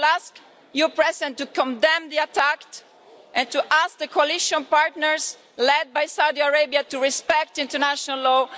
I will ask you, Madam President, to condemn the attack and to ask the coalition partners led by Saudi Arabia to respect international law.